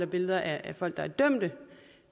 billeder af folk der er dømte